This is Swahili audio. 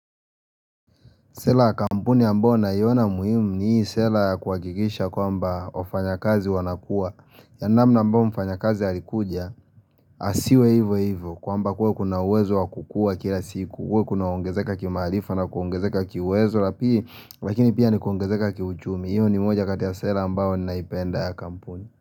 Sela kampuni ambao nayona muhimu ni hii sela ya kuhakikisha kwamba wafanyakazi wanakuwa yani namna ambao mfanyakazi alikuja asiwe hivyo hivyo kwamba kuwe kuna uwezo wakukua kila siku kuwe kuna ongezeka kimarifa na kuongezeka kiwezo lapili Lakini pia ni kuongezeka kiuchumi Iyo ni moja katia sera ambao naipenda ya kampuni.